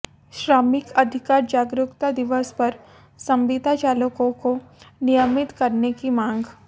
श्रमिक अधिकार जागरुकता दिवस पर संविदा चालकों को नियमित करने की मांग